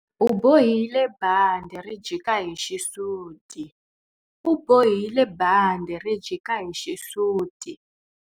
U bohile bandhi ri jika hi xisuti. U bohile bandhi ri jika hi xisuti.